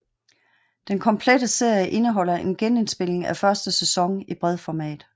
Den Komplette Serie indeholder en genindspilning af første sæson i bredformat